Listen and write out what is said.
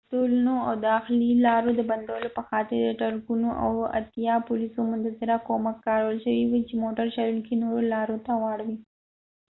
د تونلونو د داخلي لارو د بندولو په خاطر د ټرکونو او اتیا پولیسو منتظره کومک کارول شوي و چې موټر چلونکي نورو لارو ته واړوي